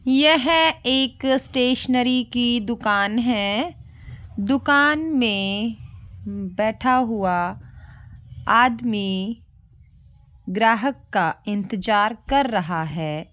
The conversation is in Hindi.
यह एक स्टेशनरी की दुकान है दुकान में बैठा हुआ आदमी ग्राहक का इन्तेजार कर रहा है।